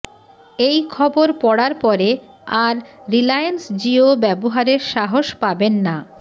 এই খবর পড়ার পরে আর রিলায়েন্স জিও ব্যবহারের সাহস পাবেন না